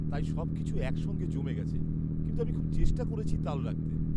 তাই সবকিছু একসঙ্গে জমে গেছে। কিন্তু আমি খুব চেষ্টা করছি তাল রাখতে।